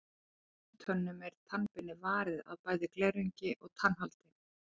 Í heilbrigðum tönnum er tannbeinið varið af bæði glerungi og tannholdi.